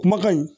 Kumakan in